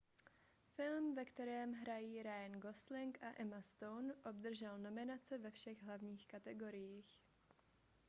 film ve kterém hrají ryan gosling a emma stone obdržel nominace ve všech hlavních kategoriích